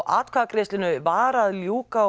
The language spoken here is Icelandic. atkvæðagreiðslu var að ljúka